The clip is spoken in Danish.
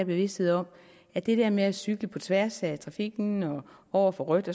bevidstheden om at det der med at cykle på tværs af trafikken og over for rødt